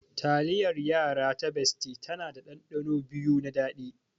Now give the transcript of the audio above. Taliyar yara ta bestie tana da ɗanɗano biyu na daɗi.